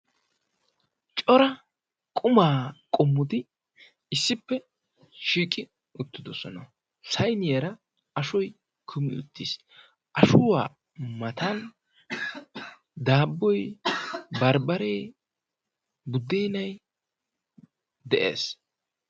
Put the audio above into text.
cora qumaa qommoti issippe shiiqi uttidosona, saynniyara ashoy kummi utiis, ashuwa mata daaboy, barbaree, budeennay be'ees.